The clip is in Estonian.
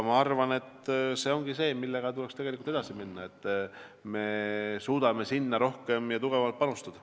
See ongi see, millega tuleks edasi minna, et me suudaksime sinna rohkem ja tugevamalt panustada.